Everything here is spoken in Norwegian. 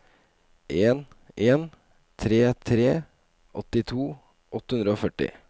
en en tre tre åttito åtte hundre og førti